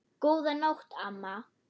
Góðan nótt, amma.